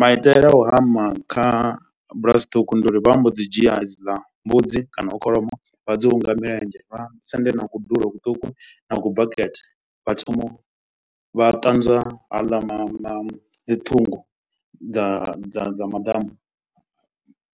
Maitele a u hama kha bulasi ṱhukhu ndi uri vha mbo dzi dzhia hedziḽa mbudzi kana kholomo. Vha dzi hunga milenzhe vha sendela na kudulo kuṱuku na kubakete vha thoma vha ṱanzwa haaḽa mama dzi ṱhungu dza dza dza maḓamu.